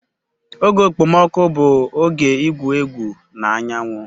Oge okpomọkụ bụ oge igwu egwu na anyanwụ.